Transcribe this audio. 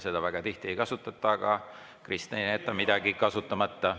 Seda väga tihti ei kasutata, aga Kristen ei jäta midagi kasutamata.